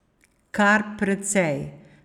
Kar precej.